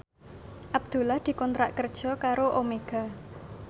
Abdullah dikontrak kerja karo Omega